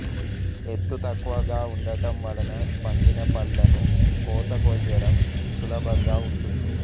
ఎత్తు తక్కువగా వుండటం వలన పండిన పళ్లను కోత కొయ్యడం సులభంగా వుంటుంది